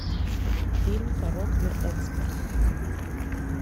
фильм порок на экспорт